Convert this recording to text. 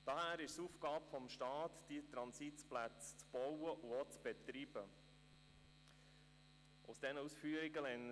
Daher ist es Aufgabe des Staates, diese Transitplätze zu bauen und auch zu betreiben.